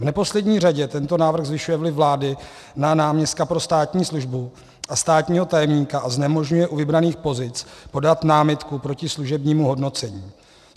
V neposlední řadě tento návrh zvyšuje vliv vlády na náměstka pro státní službu a státního tajemníka a znemožňuje u vybraných pozic podat námitku proti služebnímu hodnocení.